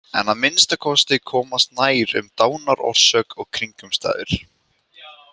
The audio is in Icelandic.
En að minnsta kosti komast nær um dánarorsök og kringumstæður.